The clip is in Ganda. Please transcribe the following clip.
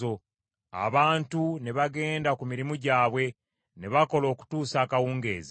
Abantu ne bagenda ku mirimu gyabwe, ne bakola okutuusa akawungeezi.